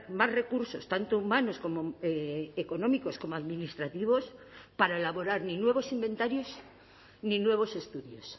más recursos tanto humanos como económicos como administrativos para elaborar ni nuevos inventarios ni nuevos estudios